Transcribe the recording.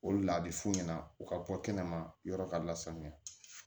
O de la a bɛ f'u ɲɛna u ka bɔ kɛnɛma yɔrɔ ka lasanya